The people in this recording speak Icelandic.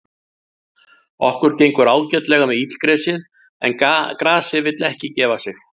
Okkur gengur ágætlega með illgresið, en grasið vill ekki gefa sig.